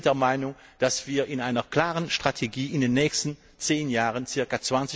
Wir sind der Meinung, dass wir mit einer klaren Strategie in den nächsten zehn Jahren ca.